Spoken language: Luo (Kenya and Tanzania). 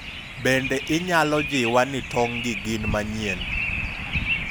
bende inyalo jiwa ni tong' gi gin manyien?